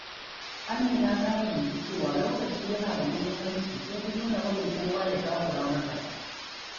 Amina ta fahimci cewa lokaci yana da muhimmanci, sai ta daina barin kowa ya takura mata.